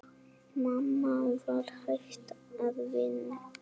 Mamma var hætt að vinna.